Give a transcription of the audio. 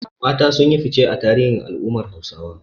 Mata sun yi fice a tarihin al’ummar Hausawa.